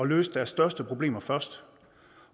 løse deres største problemer først